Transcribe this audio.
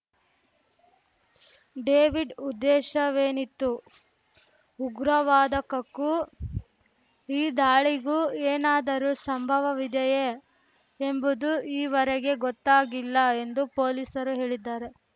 David ಉದ್ದೇಶವೇನಿತ್ತು ಉಗ್ರವಾದಕಕ್ಕೂ ಈ ದಾಳಿಗೂ ಏನಾದರೂ ಸಂಭವವವಿದೆಯೇ ಎಂಬುದೂ ಈವರೆಗೆ ಗೊತ್ತಾಗಿಲ್ಲ ಎಂದು ಪೊಲೀಸರು ಹೇಳಿದ್ದಾರೆ